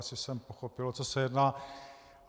Asi jsem pochopil, o co se jedná.